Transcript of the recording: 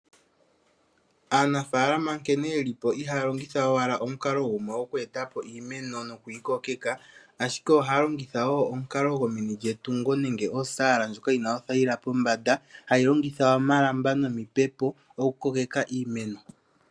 Aanafaalama nkene ye li po ihaya longitha owala omukalo gumwe okweeta po iimeno noku yi kokeka. Ashike ohaya longitha woo omukalo gomeni lyetungo nenge oosaala ndjoka yi na othayila pombanda, hayi longitha omalamba nomipepo oku kokeka iimeno.